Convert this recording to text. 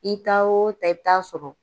I taa o taa i bɛ t'a sɔrɔ.